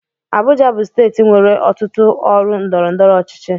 Abuja bụ steeti nwere ọtụtụ ọrụ ndọrọndọrọ ọchịchị.